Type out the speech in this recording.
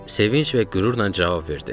Sevinc və qürurla cavab verdim.